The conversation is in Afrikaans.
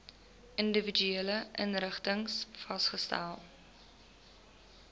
individuele inrigtings vasgestel